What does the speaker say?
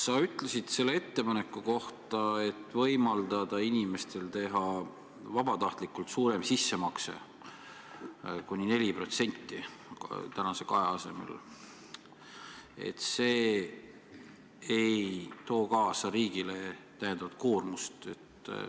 Sa ütlesid ettepaneku kohta, mille järgi võimaldataks inimestel teha vabatahtlikult suurem sissemakse – kuni 4% tänase 2% asemel –, et see ei too riigile kaasa täiendavat koormust.